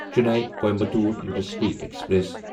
Chennai Coimbatore intercity express